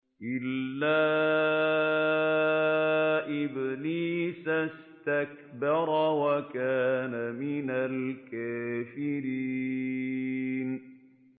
إِلَّا إِبْلِيسَ اسْتَكْبَرَ وَكَانَ مِنَ الْكَافِرِينَ